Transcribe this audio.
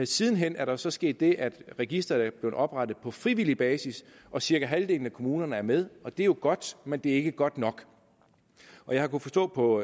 siden hen er der så sket det at registeret er blevet oprettet på frivillig basis cirka halvdelen af kommunerne er med og det er jo godt men det er ikke godt nok jeg har kunnet forstå på